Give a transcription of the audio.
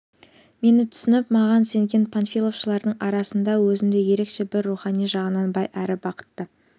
мені түсініп маған сенген панфиловшылардың арасында өзімді ерекше бір рухани жағынан бай әрі бақытты